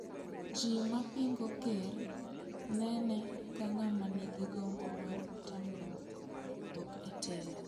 Ji mapingo ker nene ka ng'ama nigi gombo mar tamruok wuok e telo.